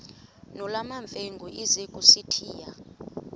nolwamamfengu ize kusitiya